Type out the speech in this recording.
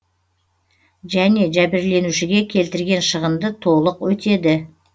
және жәбірленушіге келтірген шығынды толық өтеді